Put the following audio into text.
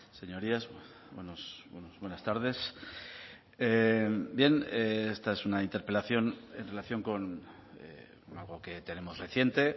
señorías buenas tardes bien esta es una interpelación en relación con algo que tenemos reciente